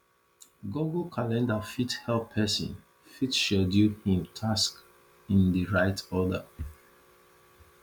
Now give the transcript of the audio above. google calender fit help person fit schedule im task in di right order